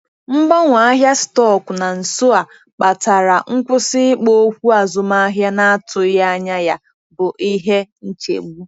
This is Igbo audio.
Mgbanwe ahịa stọkụ na nso a kpatara nkwụsị ikpo okwu azụmahịa na-atụghị anya ya bụ ihe nchegbu.